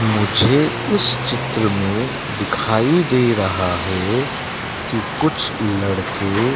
मुझे इस चित्र में दिखाई दे रहा है कि कुछ लड़के--